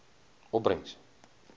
opbrengs